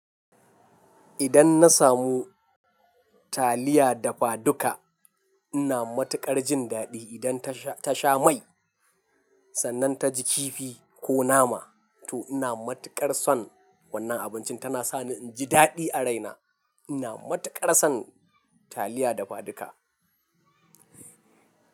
Idan na samu taliya dafaduka ina matuƙar jin daɗi. Idan ta sha mai sannan ta ji kifi ko nama to ina matuƙar son wannan abincin. Tana sani inji daɗi a raina. Ina matuƙar son taliya dafaduka.